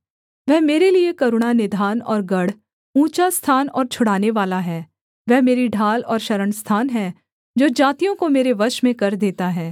वह मेरे लिये करुणानिधान और गढ़ ऊँचा स्थान और छुड़ानेवाला है वह मेरी ढाल और शरणस्थान है जो जातियों को मेरे वश में कर देता है